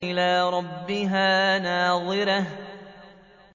إِلَىٰ رَبِّهَا نَاظِرَةٌ